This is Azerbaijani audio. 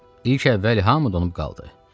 İlk əvvəl hamı donub qaldı.